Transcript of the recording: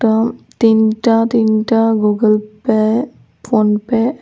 তিনটা তিনটা Google Pay PhonePe.